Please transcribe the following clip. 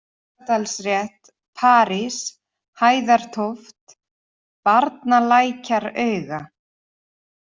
Efstadalsrétt, París, Hæðartóft, Barnalækjarauga